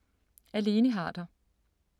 Af Lene Harder